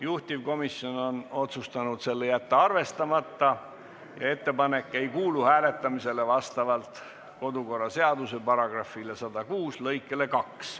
Juhtivkomisjon on otsustanud selle arvestamata jätta ning ettepanek ei kuulu hääletamisele vastavalt kodukorraseaduse § 106 lõikele 2.